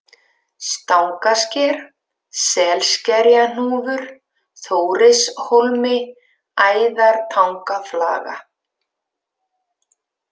Stangasker, Selskerjahnúfur, Þórishólmi, Æðartangaflaga